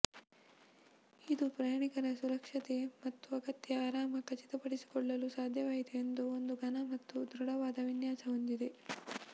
ಇದು ಪ್ರಯಾಣಿಕರ ಸುರಕ್ಷತೆ ಮತ್ತು ಅಗತ್ಯ ಆರಾಮ ಖಚಿತಪಡಿಸಿಕೊಳ್ಳಲು ಸಾಧ್ಯವಾಯಿತು ಎಂದು ಒಂದು ಘನ ಮತ್ತು ದೃಢವಾದ ವಿನ್ಯಾಸ ಹೊಂದಿದೆ